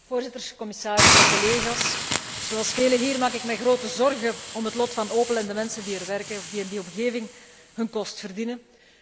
Voorzitter, commissaris, collega's, zoals velen hier maak ik mij grote zorgen om het lot van Opel en de mensen die er werken of die in die omgeving hun kost verdienen.